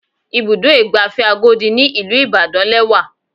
Ibùdó ìgbafẹ́ Agodi ní ìlú Ìbàdàn lẹ́wà.